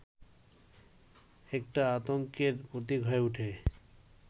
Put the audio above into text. একটা আতংকের প্রতীক হয়ে ওঠে